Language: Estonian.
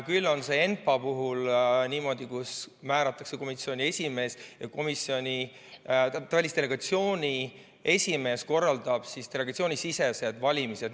Küll on aga ENPA puhul niimoodi, kus määratakse komisjoni esimees ja välisdelegatsiooni esimees korraldab delegatsioonisisesed valimised.